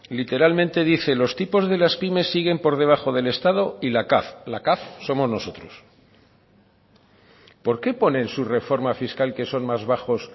literalmente dice los tipos de las pymes siguen por debajo del estado y la cav y la cav somos nosotros por qué pone en su reforma fiscal que son más bajos